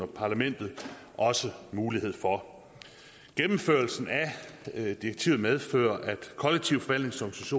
parlamentet også mulighed for gennemførelsen af direktivet medfører at kollektiv forvaltnings